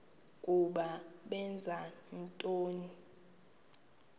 ukuba benza ntoni